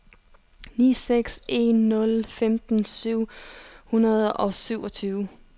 ni seks en nul femten syv hundrede og syvogtyve